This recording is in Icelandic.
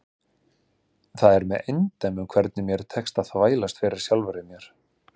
Það er með eindæmum hvernig mér tekst að þvælast fyrir sjálfri mér.